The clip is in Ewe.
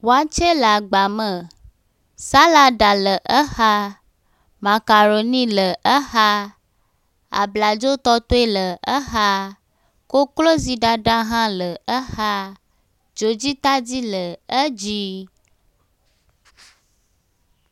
Wakye le agba me. Salada le exaa, makaroni le exaa, abladzotɔtoe le exaa, kokloziɖaɖa hã le exaa, dzodzitadi le edzii.